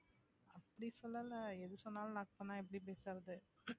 அப்படி சொல்லலை எது சொன்னாலும் lock எப்படி பேசுறது